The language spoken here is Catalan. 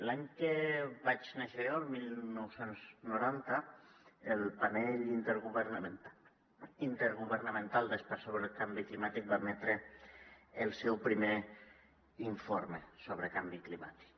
l’any que vaig néixer jo el dinou noranta el grup intergovernamental d’experts sobre el canvi climàtic va emetre el seu primer informe sobre canvi climàtic